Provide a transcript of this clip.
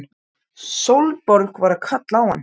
Sólborg var að kalla á hann!